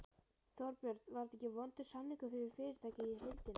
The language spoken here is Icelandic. Þorbjörn: Var þetta ekki vondur samningur fyrir fyrirtækið í heildina?